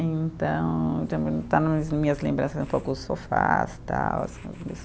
Então, está nas minhas lembranças um pouco os sofás e tal.